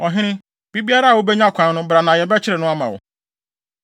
Ɔhene, bere biara a wubenya kwan no bra na yɛbɛkyere no ama wo.”